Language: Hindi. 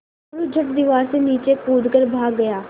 मोरू झट दीवार से नीचे कूद कर भाग गया